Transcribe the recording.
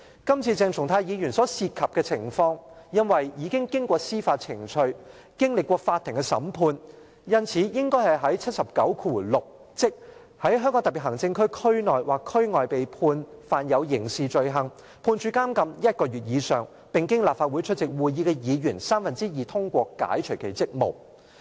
今次鄭松泰議員所涉及的情況，因為已經過司法程序，經歷過法庭的審判，因此應比照《基本法》第七十九條第六項："在香港特別行政區區內或區外被判犯有刑事罪行，判處監禁一個月以上，並經立法會出席會議的議員三分之二通過解除其職務"。